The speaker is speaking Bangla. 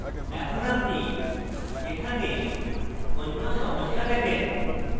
এখন আপনি এখানে অন্য সমস্যা দেখেন